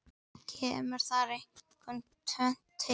Kemur þar einkum tvennt til.